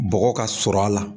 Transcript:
Bɔgɔ ka sɔrɔ a la